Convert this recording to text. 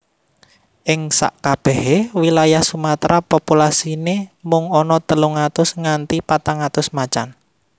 Ing sakabéhé wilayah Sumatra populasiné mung ana telung atus nganti patang atus macan